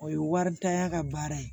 O ye waridanya ka baara ye